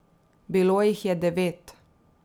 Bilo jih je devet.